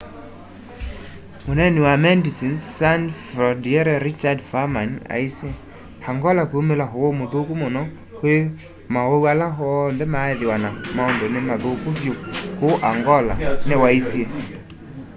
muneeni wa medecines sans frontiere richard veerman aisye angola kwiumila uwau muthuku muno kwi mauwau ala onthe maaithiwa na maundu ni mathuku vyu kuu angola ni waisye